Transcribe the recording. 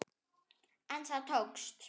En það tókst.